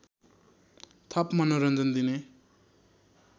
थप मनोरञ्जन दिने